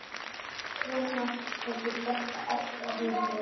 En svona hefur þetta alltaf verið.